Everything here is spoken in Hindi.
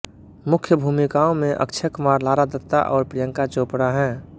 मुख्य भूमिकाओं में अक्षय कुमार लारा दत्ता और प्रियंका चोपड़ा हैं